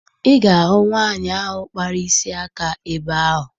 Ị ga-ahụ nwaanyị ahụ kpara isi aka ebe ahụ